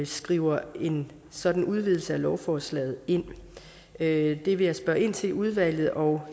skriver en sådan udvidelse af lovforslaget ind det det vil jeg spørge ind til i udvalget og